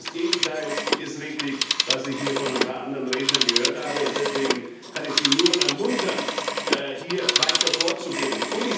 Genau das Gegenteil von dem ist richtig, was ich hier von ein paar anderen Rednern gehört habe. Deswegen kann ich Sie nur ermuntern, hier weiter vorzugehen.